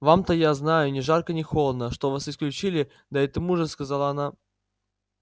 вам-то я знаю ни жарко ни холодно что вас исключили да и тому же сказала она